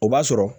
O b'a sɔrɔ